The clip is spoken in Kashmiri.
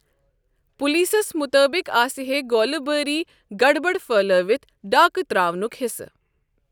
پُلیٖسس مُطٲبِق آسِہے گوٗلہٕ بٲری گڈبڈ پھہلٲوِتھ ڈاكہٕ تراونُك حِصہٕ ۔